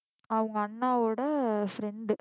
அவங்க அண்ணாவோட friend